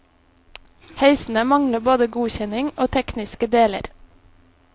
Heisene mangler både godkjenning og tekniske deler.